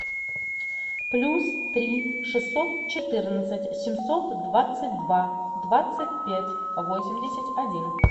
плюс три шестьсот четырнадцать семьсот двадцать два двадцать пять восемьдесят один